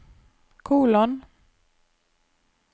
kolon